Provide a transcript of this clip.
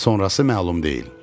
Sonrası məlum deyil.